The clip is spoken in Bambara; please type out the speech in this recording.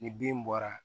Ni bin bɔra